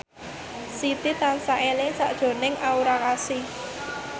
Siti tansah eling sakjroning Aura Kasih